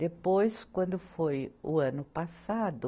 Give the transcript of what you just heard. Depois, quando foi o ano passado,